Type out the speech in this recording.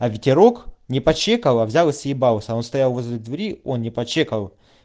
а ветерок не по чеково взял и съебалась он стоял возле двери он не по чеково